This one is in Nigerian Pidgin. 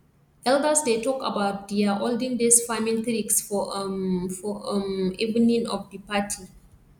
elders dey talk about dia olden days farming tricks for um for um evening of di party